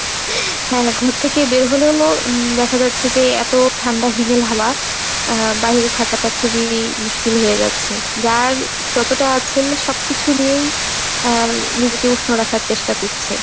না না ঘর থেকে বের হলেও হল দেখা যাচ্ছে যে এতো ঠান্ডা হিমেল হওয়া আহ বাহিরে থাকাটা খুবই মুশকিল হয়ে যাচ্ছে। যার যতোটা আছে সবকিছু নিয়েই আহ নিজেকে উষ্ণ রাখার চেষ্টা করছে।